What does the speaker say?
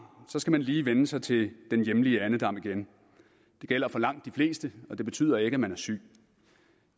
skal man lige vænne sig til den hjemlige andedam igen det gælder for langt de fleste og betyder ikke at man er syg